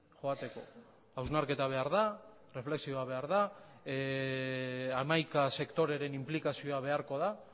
hausnarketa behar da hamaika sektoreren inplikazioa beharko da